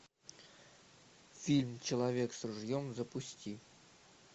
фильм человек с ружьем запусти